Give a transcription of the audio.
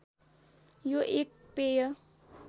यो एक पेय